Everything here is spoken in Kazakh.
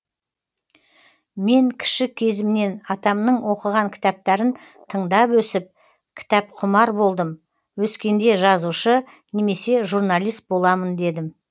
мен кіші кезімнен атамның оқыған кітаптарын тыңдап өсіп кітапқұмар болдым өскенде жазушы немесе журналист боламын дедім